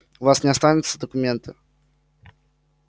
у вас не останется документа